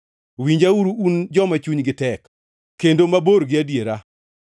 Winjauru, un joma chunygi tek kendo mabor gi adiera.